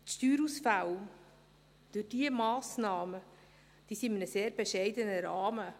Die Steuerausfälle, die sich durch diese Massnahme ergeben, halten sich in einem sehr bescheidenen Rahmen.